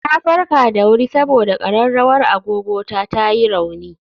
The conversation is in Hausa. Na farka da wuri saboda ƙararrawar agogo ta ta yi rauni